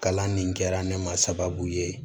Kalan nin kɛra ne ma sababu ye